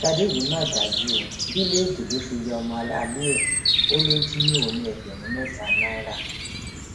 ṣadé yìí mà dájú o bíléèdì ló fi ya ọmọ aráalé ẹ ó lọ jí òun ní ẹgbẹrún mẹta náírà